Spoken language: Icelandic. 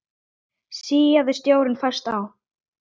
Síaði sjórinn fæst á